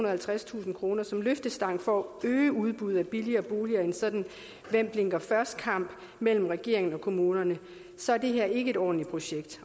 og halvtredstusind kroner som løftestang for at øge udbuddet af billigere boliger i en sådan hvem blinker først kamp mellem regeringen og kommunerne så er det her ikke et ordentligt projekt